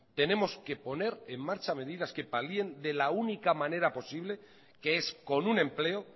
tenemos que poner en marcha medidas que palien de la única manera posible que es con un empleo